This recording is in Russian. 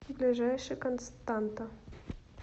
ближайший константа